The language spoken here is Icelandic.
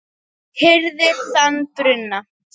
hirðir þann bruna